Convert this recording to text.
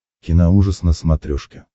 киноужас на смотрешке